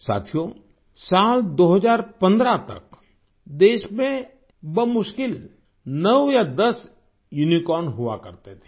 साथियो साल 2015 तक देश में बमुश्किल नौ या दस यूनिकॉर्न्स हुआ करते थे